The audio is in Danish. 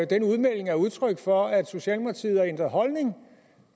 den udmelding er udtryk for at socialdemokratiet har ændret holdning